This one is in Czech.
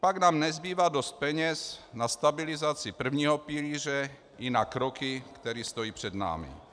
Pak nám nezbývá dost peněz na stabilizaci prvního pilíře i na kroky, které stojí před námi.